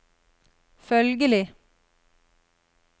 følgelig